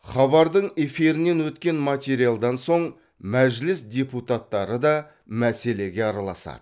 хабардың эфирінен өткен материалдан соң мәжіліс депутаттары да мәселеге араласады